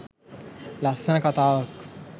ලස්සන කතාවක්